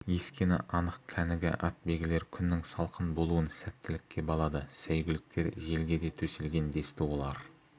ескені анық кәнігі атбегілер күннің салқын болуын сәттілікке балады сәйгүліктер желге де төселген десті олар